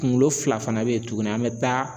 Kuŋolo fila fana be ye tuguni an bɛ taa